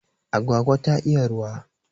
Agwagwa ta iya ruwa